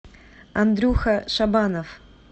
андрюха шабанов